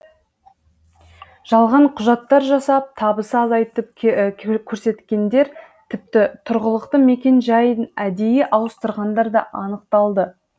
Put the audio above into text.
жалған құжаттар жасап табысы азайтып көрсеткендер тіпті тұрғылықты мекенжайын әдейі ауыстырғандар да анықталды